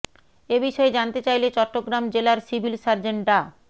এ বিষয়ে জানতে চাইলে চট্টগ্রাম জেলার সিভিল সার্জন ডা